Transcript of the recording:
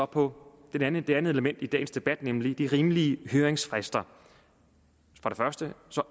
på det andet element i dagens debat nemlig de rimelige høringsfrister det